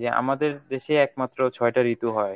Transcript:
যে আমাদের দেশেই একমাত্র ছয়টা ঋতু হয়।